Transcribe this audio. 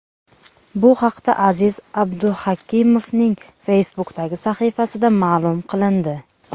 Bu haqda Aziz Abduhakimovning Facebook’dagi sahifasida ma’lum qilindi.